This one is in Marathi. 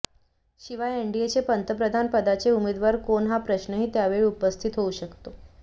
शिवाय एनडीएचे पंतप्रधान पदाचे उमेदवार कोण हा प्रश्नही त्यावेळी उपस्थित होवू शकतो